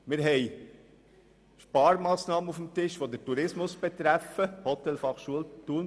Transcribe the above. Zudem haben wir Sparmassnahmen auf dem Tisch, die den Tourismus betreffen, beispielsweise die Hotelfachschule Thun.